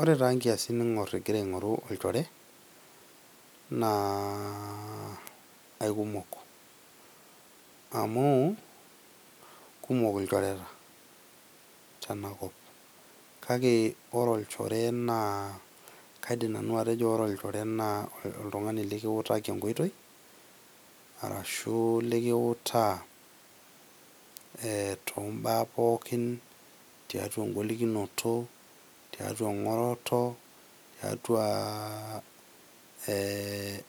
Ore taa nkiasin ningor ingira ingoru olchore naa aikumok , amu kumok ilchoreta tenakop kakeore olchore naa , kaidim nanu atejo ore olchore naa oltungani likiutaki enkoitoi arashu likiutaa ee too mbaa pookin , tiatua engolikinoto , tiatua engoroto, tiatua ee